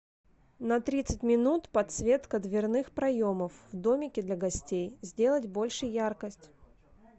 на тридцать минут подсветка дверных проемов в домике для гостей сделать больше яркость